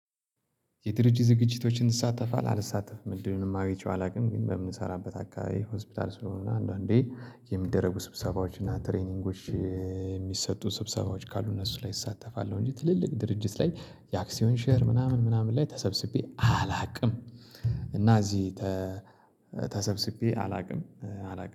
የድርጅት ዝግጅቶችን ትሳተፋለህ? አልሳተፍም እድሉንም አግኝቼው አላውቅም ግን በምንሰራበት አካባቢ ሆስፒታል ስለሆነ አንዳንዴ የሚደረጉ ስብሰባዎች እና ትሬኒንጎች የሚሰጡ ስብሰባዎች ካሉ እነሱ ላይ እሳተፋለሁ እንጂ ትልልቅ ድርጅት ላይ የአክሲዮን ሼር ምናምን ምናምን ላይ ተሰብስቤ አላውቅም እና እዚህ ተሰብስቤ አላውቅም አላውቅም።